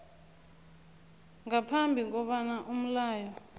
ngaphambi kobana umlayo